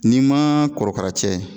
N'i ma korokara cɛ ye